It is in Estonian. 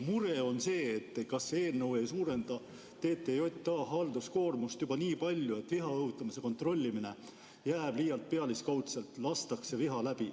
Mure on, et kas see eelnõu ei suurenda TTJA halduskoormust juba nii palju, et viha õhutamise kontrollimine jääb liialt pealiskaudseks ja viha lastakse läbi.